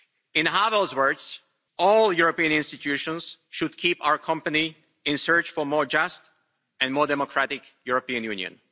In Havel's words, all European institutions should keep our company in search of a more just and more democratic European Union.